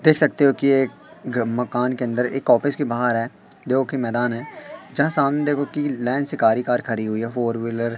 देख सकते हो कि एक मकान के अंदर एक ऑफिस के बाहर है देखो कि मैदान है जहां सामने देखो कि लेंसकारी कार खड़ी हुई है फोर व्हीलर ।